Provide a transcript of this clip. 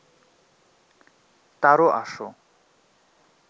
তারো আসো